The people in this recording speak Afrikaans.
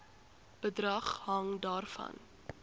bedrag hang daarvan